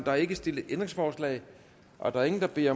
er ikke stillet ændringsforslag og der er ingen der beder